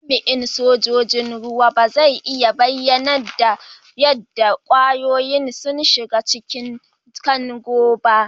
Jami'in sojoji'n ruwa ba zai iya bayyana yadda kwayoyin sun shiga cikin Kagon' ba.